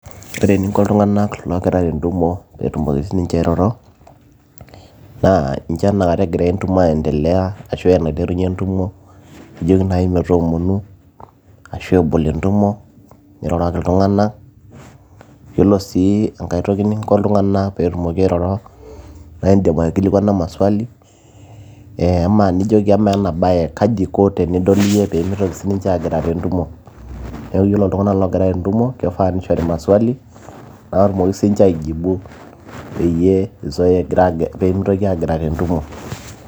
ore eninko iltung'anak loogira tentumo peetumoki sininche airoro naa incho enakata egira entumo ae endelea ashu uh, enaiterunyie entumo nijoki naaji metoomonu ashu ebol entumo niroroki iltung'anak yiolo sii enkat toki ninko iltung'anak peetumoki airoro naa indim aikilikwana maswali nijoki amaa ena baye kaji iko tenidol iyie peemitoki sininche aagira tentumo neeku yiolo iltung'anak loogira tentumo kifaa nishori maswali naatumoki sininche aijibu peyie mitoki aagira tentumo.